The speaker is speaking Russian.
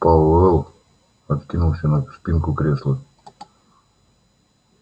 пауэлл откинулся на спинку кресла